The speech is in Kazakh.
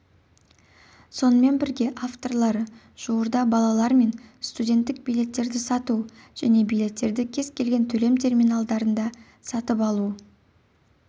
сонымен бірге авторлары жуырда балалар мен студенттік билеттерді сату және билеттерді кез келген төлем терминалында сатып алу